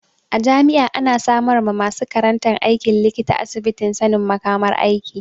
A jami'a ana samar ma masu karantan aikin likita asibitin sanin makamar aiki.